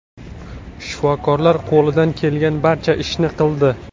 Shifokorlar qo‘lidan kelgan barcha ishni qildi.